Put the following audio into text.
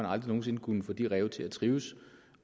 aldrig nogen sinde kunnet få de ræve til at trives